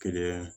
Keleya yan